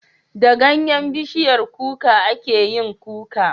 Da ganyen bishiyar kuka ake yin Kuka